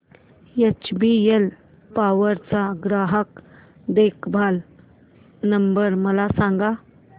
HBL power चा ग्राहक देखभाल नंबर मला सांगा